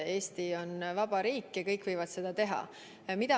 Eesti on vaba riik ja kõik võivad seda teha.